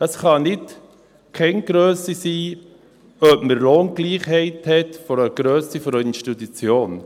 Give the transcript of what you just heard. Es kann nicht Kenngrösse sein, ob man Lohngleichheit hat, abhängig von der Grösse einer Institution.